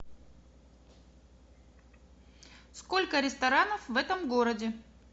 сколько ресторанов в этом городе